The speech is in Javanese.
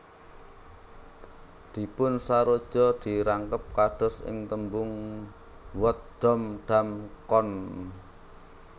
Dipunsaroja dirangkep kados ing tembung wod dom dang kon